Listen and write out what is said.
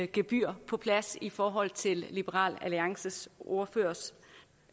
gebyr på plads i forhold til liberal alliances ordførers